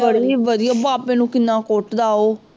ਬੜੀ ਵਧੀਆ ਬਾਬੇ ਨੂੰ ਕਿੰਨਾ ਕੁੱਟਦਾ ਉਹ